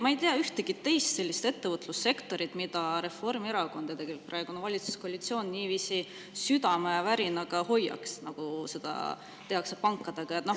Ma ei tea ühtegi teist ettevõtlussektorit, mida Reformierakond ja praegune valitsuskoalitsioon niiviisi südamevärinaga hoiaks, nagu seda tehakse pankadega.